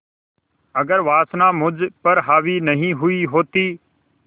अगर वासना मुझ पर हावी नहीं हुई होती